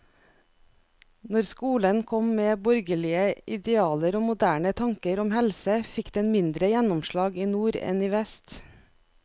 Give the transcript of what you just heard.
Når skolen kom med borgerlige idealer og moderne tanker om helse, fikk den mindre gjennomslag i nord enn i vest.